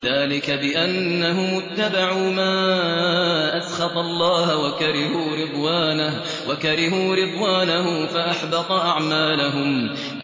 ذَٰلِكَ بِأَنَّهُمُ اتَّبَعُوا مَا أَسْخَطَ اللَّهَ وَكَرِهُوا رِضْوَانَهُ فَأَحْبَطَ أَعْمَالَهُمْ